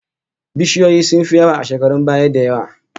Bishiyoyi sun fi yawa a shekarun baya da yawa